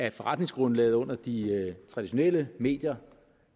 at forretningsgrundlaget under de traditionelle medier